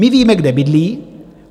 My víme, kde bydlí.